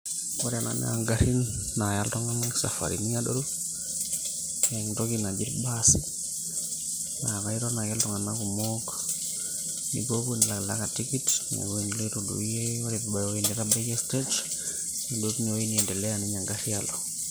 ore ena naa ingarrin naaya iltung'anak isafarini adoru nentoki naji irbasi naa kaiton ake iltung'anak kumok nipuopuo nilakilaka tikit ore ewueji niloito duo iyie ore piibaya ewueji nitabaikia stage nidou tinewueji niendeleya ninye engarr alo.